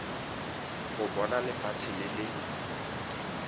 go bona lefatshe le le